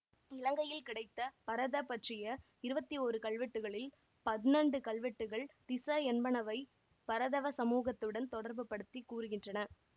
இலங்கையில் கிடைத்த பரத பற்றிய இருபத்தி ஓரு கல்வெட்டுக்களில் பன்னெண்டு கல்வெட்டுக்கள் திஸ என்பனவை பரதவ சமூகத்துடன் தொடர்பு படுத்தி கூறுகின்றன